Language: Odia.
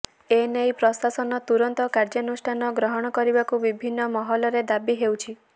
ଏ ନେଇ ପ୍ରଶାସନ ତୁରନ୍ତ କାର୍ଯ୍ୟନୁଷ୍ଠାନ ଗ୍ରହଣ କରିବାକୁ ବିଭିନ୍ନ ମହଲ ରେ ଦାବି ହେଉଛି